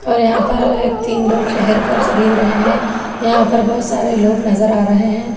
और यहां पर एक तीन लोग ठहर कर खरीद रहे हैं यहां पर बहुत सारे लोग नजर आ रहे हैं।